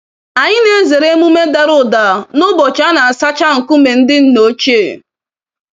Anyị na-ezere emume dàrà ụda n'ụbọchị a na-asacha nkume ndị nna ochie.